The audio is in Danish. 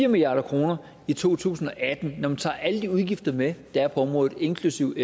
milliard kroner i to tusind og atten når man tager alle de udgifter med der er på området inklusiv